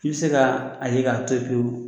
I bɛ se ka a ye k'a to yen pewu